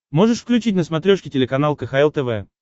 можешь включить на смотрешке телеканал кхл тв